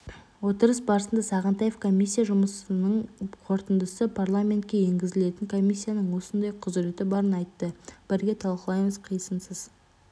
отырыс барысында сағынтаев комиссия жұмысының қорытындысы парламентке енгізілетінін комиссияның осындай құзіреті барын айтты бірге талқылаймыз қисынсыз